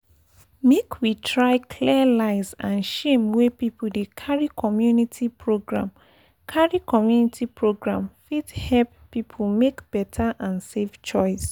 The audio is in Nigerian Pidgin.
make we try clear lies and shame wey people dey carry community program carry community program fit help people make better and safe choice.